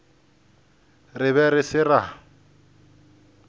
re be re se ra